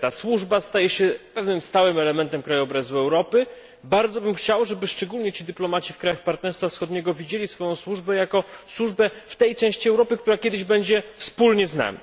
ta służba staje się pewnym stałym elementem krajobrazu Europy. Bardzo bym chciał, żeby szczególnie ci dyplomaci w krajach partnerstwa wschodniego widzieli ją jako służbę w tej części Europy, która kiedyś będzie wspólnie z nami.